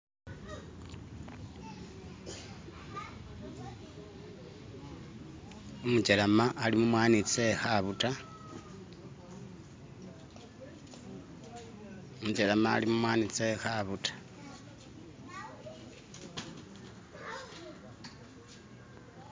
Umujelema ali mumwanyi tse khabuta umujelema ali mumwanyi tse khabuta